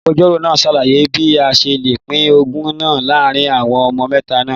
Agbẹjọro naa ṣalaye bi a ṣe le pin ogún naa laarin awọn ọmọ mẹta naa